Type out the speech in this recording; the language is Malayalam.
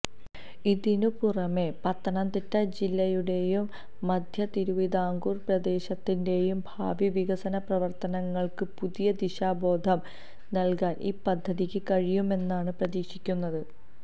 ഇതിനുപുറമെ പത്തനംതിട്ട ജില്ലയുടെയും മധ്യതിരുവിതാംകൂര് പ്രദേശത്തിന്റെയും ഭാവി വികസന പ്രവര്ത്തനങ്ങള്ക്ക് പുതിയ ദിശാബോധം നല്കാന് ഈ പദ്ധതിക്ക് കഴിയുമെന്നാണ് പ്രതീക്ഷിക്കുന്നത്